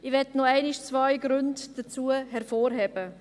Ich möchte noch einmal zwei Gründe hervorheben.